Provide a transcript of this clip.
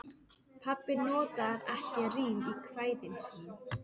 Pabbi notar ekki rím í kvæðin sín.